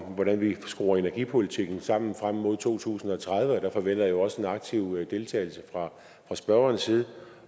om hvordan vi skruer energipolitikken sammen frem mod to tusind og tredive og der forventer jeg også en aktiv deltagelse fra spørgerens side